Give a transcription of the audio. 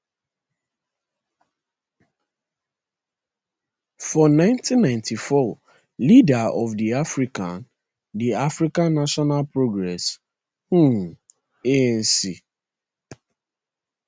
for 1994 leader of di african di african national congress um anc